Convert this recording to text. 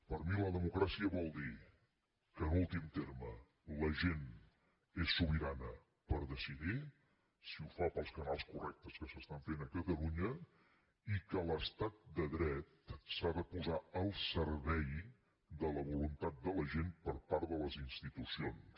per mi la democràcia vol dir que en últim terme la gent és sobirana per decidir si ho fa pels canals correctes que s’estan fent a catalunya i que l’estat de dret s’ha de posar al servei de la voluntat de la gent per part de les institucions